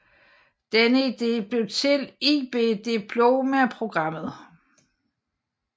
Denne idé blev til IB Diploma Programmet